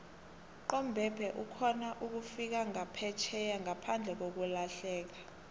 nqomebhe ukhona ukufika nqaphetjheya nqaphandlekakulahieka